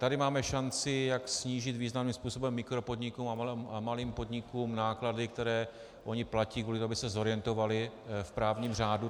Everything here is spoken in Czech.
Tady máme šanci, jak snížit významným způsobem mikropodnikům a malým podnikům náklady, které ony platí kvůli tomu, aby se zorientovaly v právním řádu.